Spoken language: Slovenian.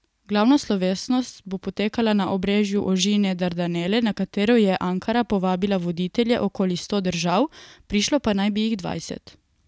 Glavna slovesnost bo potekala na obrežju ožine Dardanele, na katero je Ankara povabila voditelje okoli sto držav, prišlo pa naj bi jih dvajset.